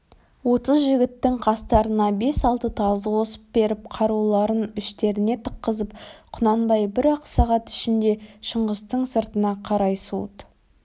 отыз жігіттің қастарына бес-алты тазы қосып беріп қаруларын іштеріне тыққызып құнанбай бір-ақ сағат ішінде шыңғыстың сыртына қарай суыт